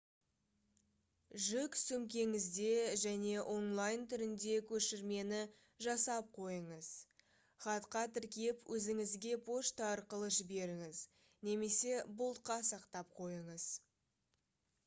жүк сөмкеңізде және онлайн түрінде көшірмені жасап қойыңыз хатқа тіркеп өзіңізге пошта арқылы жіберіңіз немесе бұлтқа сақтап қойыңыз